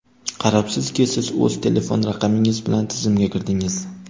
qarabsizki siz o‘z telefon raqamingiz bilan tizimga kirdingiz.